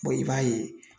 i b'a ye